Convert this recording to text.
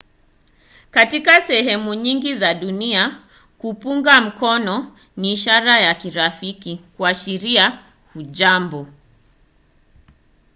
katika sehemu nyingi za dunia kupunga mkono ni ishara ya kirafiki kuashiria hujambo.